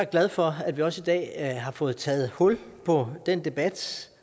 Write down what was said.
glad for at vi også i dag har fået taget hul på den debat